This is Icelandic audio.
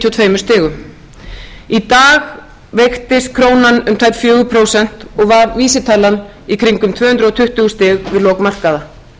tveimur stigum í dag veiktist krónan um tæp fjögur prósent og var vísitalan í kringum tvö hundruð tuttugu stig við lok markaða